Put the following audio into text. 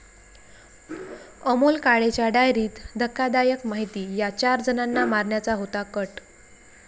अमोल काळेच्या डायरीत धक्कादायक माहिती, 'या' चार जणांना मारण्याचा होता कट